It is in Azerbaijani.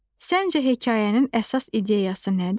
Səncə hekayənin əsas ideyası nədir?